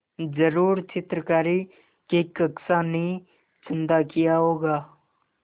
ज़रूर चित्रकारी की कक्षा ने चंदा किया होगा